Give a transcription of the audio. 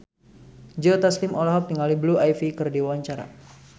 Joe Taslim olohok ningali Blue Ivy keur diwawancara